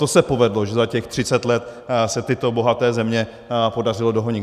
To se povedlo, že za těch třicet let se tyto bohaté země podařilo dohonit.